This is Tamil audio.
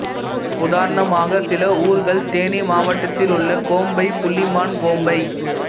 உதாரணமாக சில ஊர்கள் தேனி மாவட்டத்திலுள்ள கோம்பை புள்ளிமான் கோம்பை